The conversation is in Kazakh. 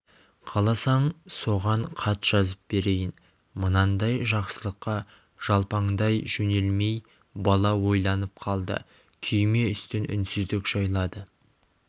қаласаң соған хат жазып берейін мынандай жақсылыққа жалпаңдай жөнелмей бала ойланып қалды күйме үстін үнсіздік жайлады